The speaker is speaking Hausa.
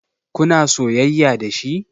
Kuna soyayya dashi?